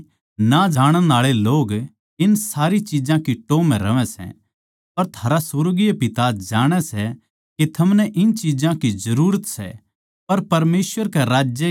क्यूँके परमेसवर ताहीं ना जाणण आळे लोग इन सारी चिज्जां की टोह् म्ह रहवै सै पर थारा सुर्गीय पिता जाणै सै के थमनै इन चिज्जां की जरूरत सै